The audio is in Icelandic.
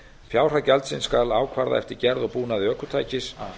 fjárhæð gjaldsins skal ákvarða eftir gerð og búnaði ökutækis